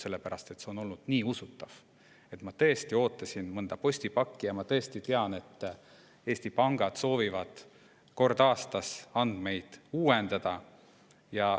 See oli nii usutav, kuna ma tõesti ootasingi mõnda postipakki ja ma tean, et Eesti pangad soovivad kord aastas andmeid uuendada.